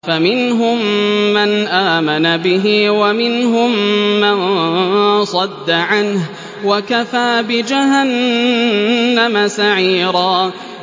فَمِنْهُم مَّنْ آمَنَ بِهِ وَمِنْهُم مَّن صَدَّ عَنْهُ ۚ وَكَفَىٰ بِجَهَنَّمَ سَعِيرًا